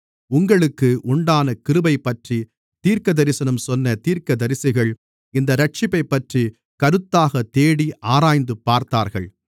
உங்களுக்கு உண்டான கிருபையைப்பற்றித் தீர்க்கதரிசனம் சொன்ன தீர்க்கதரிசிகள் இந்த இரட்சிப்பைப்பற்றிக் கருத்தாகத் தேடி ஆராய்ந்து பார்த்தார்கள்